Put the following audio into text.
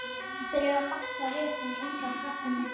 Þeir eru að baksa við hann úti á tröppunum.